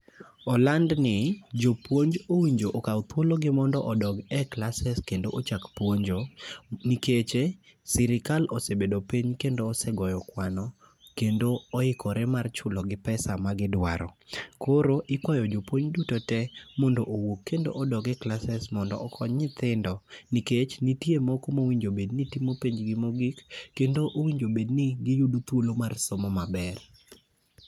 Oland ni jopuonj owinjo okaw thuologi mondo odog e classes kendo ochak puonjo. Nikeche, sirikal osebedo piny kendo osegoyo kwano, kendo oikore mar chulo gi pesa ma gidwaro. Koro ikwayo jopuony duto te mondo odoge classes mondo okony nyithindo. Nikech nitie moko mowinjobedni timo penj gi mogik, kendo owinjobedni giyudo thuolo mar somo maber.